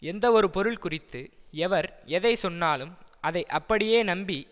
எந்தவொரு பொருள்குறித்து எவர் எதை சொன்னாலும் அதை அப்படியே நம்பி